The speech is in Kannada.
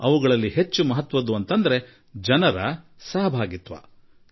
ಅದರಲ್ಲಿ ಅತಿ ಮಹತ್ವವಾದ್ದು ಜನರ ಪಾಲ್ಗೊಳ್ಳುವಿಕೆ